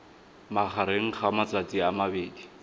magareng ga matsatsi a mabedi